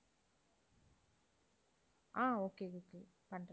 ஆஹ் okay, okay பண்றேன்